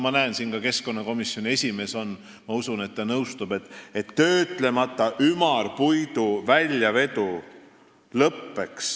Ma näen siin ka keskkonnakomisjoni esimeest ja ma usun, et ta nõustub.